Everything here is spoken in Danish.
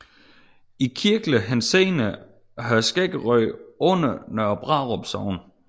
I kirkelig henseende hører Skæggerød under Nørre Brarup Sogn